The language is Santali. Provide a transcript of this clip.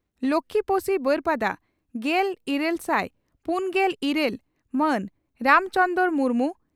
ᱞᱚᱠᱷᱢᱤᱯᱳᱥᱤ ᱵᱟᱹᱨᱯᱟᱫᱟ ᱾ᱜᱮᱞ ᱤᱨᱟᱹᱞ ᱥᱟᱭ ᱯᱩᱱᱜᱮᱞ ᱤᱨᱟᱹᱞ ᱢᱟᱱ ᱨᱟᱢ ᱪᱚᱸᱫᱽᱨᱚ ᱢᱩᱨᱢᱩ